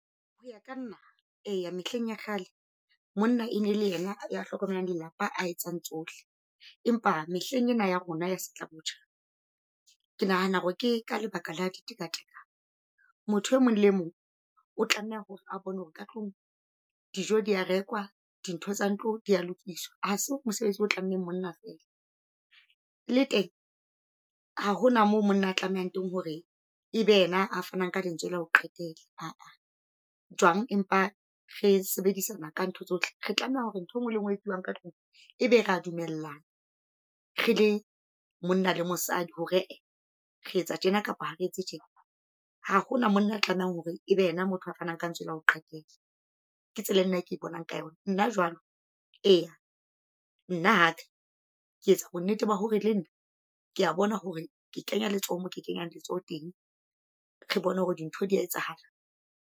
Hoya ka nna eya mehleng ya kgale monna e ne le ena ya hlokomela lelapa a etsang tsohle. Empa mehleng ena ya rona ya setlabotjha ke nahana hore ke ka lebaka la ditekatekano. Motho e mong le mong o tlameha hore a bone hore ka tlung dijo dia rekwa dintho tsa ntlo dia lokiswa, ha se mosebetsi o tlammeng monna fela. Le teng ha hona moo monna a tlamehang teng hore ebe yena a fanang ka lentswe la ho qetela, aa. Jwang empa re sebedisana ka ntho tsohle, re tlameha hore ntho engwe le ngwe e etsuwang ka tlung ebe rea dumellana. Re le monna le mosadi hore ee re etse tjena kapa ha re etse tjena, ha hona monna a tlamehang hore ebe yena motho a fanang ka ntswe la ho qetela. Ke tsela eo nna ke bonang ka yona nna jwalo. Eya nna hape ke etsa bonnete ba hore le nna kea bona hore ke kenya letsoho, mo ke kenyang letsoho teng, re bone hore dintho dia etsahala.